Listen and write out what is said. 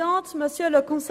Ich höre ein Ja.